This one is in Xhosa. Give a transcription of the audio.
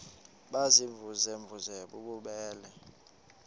baziimvuze mvuze bububele